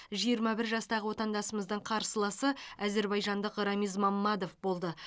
жиырма бір жастағы отандасымыздың қарсыласы әзербайжандық рамиз маммадов болды